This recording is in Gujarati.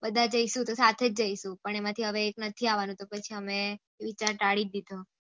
બધા જઈશું તો સાથે જઈશું પણ એમાંથી હવે એક નથી આવાનો તો પછી અમે વિચાર તાળી દીધો